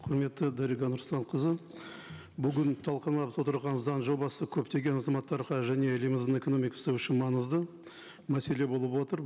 құрметті дариға нұрсұлтанқызы бүгін отырыған заң жобасы көптеген азаматтарға және еліміздің экономикасы үшін маңызды мәселе болып отыр